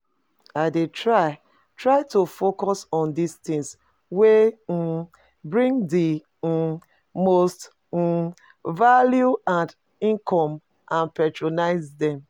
I dey try try to focus on di tings wey um bring di um most um value and income and prioritize dem.